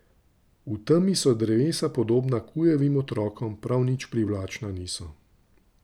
V temi so drevesa podobna kujavim otrokom, prav nič privlačna niso.